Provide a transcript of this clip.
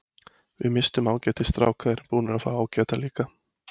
Við misstum ágætis stráka en erum búnir að fá ágæta líka.